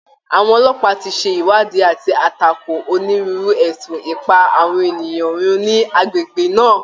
Àwọn ọlọ́pàá ti ṣe ìwádìí àti àtakò onírúurú ẹ̀sùn ìpa àwọn ènìyàn run ni agbègbè náà